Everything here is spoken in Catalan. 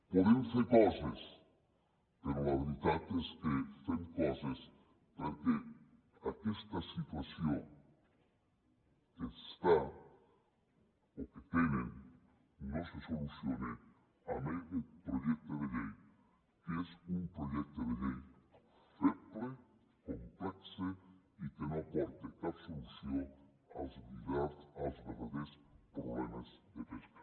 podem fer coses però la veritat és que fem coses perquè aquesta situació que està o que tenen no se soluciona amb aquest projecte de llei que és un projecte de llei feble complex i que no aporta cap solució als verdaders problemes de pesca